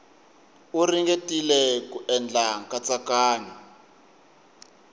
u ringetile ku endla nkatsakanyo